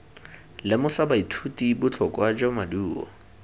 lemosa baithuti botlhokwa jwa maduo